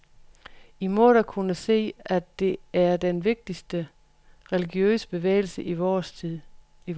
I må da kunne se, at det er den vigtigste religiøse bevægelse i vor tid.